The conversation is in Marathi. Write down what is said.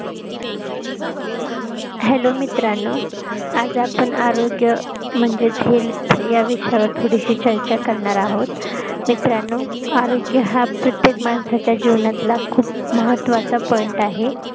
HELLO मित्रांनो आज आपण आरोग्य म्हणजेच health या विषयावर थोडीशी चर्चा करणार आहोत मित्रांनो आरोग्य हा प्रत्येक माणसाच्या जीवनातला खूप महत्वाचा POINT आहे